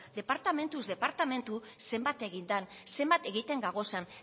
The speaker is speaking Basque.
departamentuz departamendu zenbat egin dan zenbat egiten gagozan